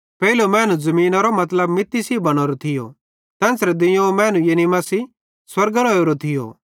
पेइलो मैनू ज़मीनरो मतलब मित्ती सेइं बनोरो थियो तेन्च़रे दुइयोवं मैनू यानी मसीह स्वर्गेरां ओरो थियो